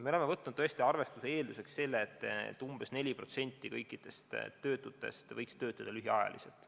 Me oleme võtnud arvestuse eelduseks selle, et umbes 4% kõikidest töötutest võiks töötada lühiajaliselt.